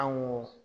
An ko